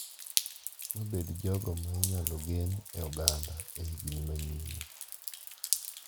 Mabed jogo ma inyalo gen e oganda e higni manyime.